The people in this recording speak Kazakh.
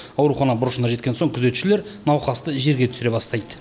аурухана бұрышына жеткен соң күзетшілер науқасты жерге түсіре бастайды